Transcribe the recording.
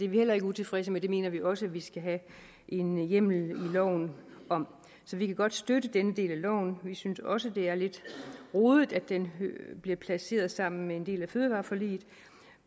heller ikke utilfredse med det mener vi også at vi skal have en hjemmel i loven om så vi kan godt støtte denne del af loven vi synes også at det er lidt rodet at den bliver placeret sammen med en del af fødevareforliget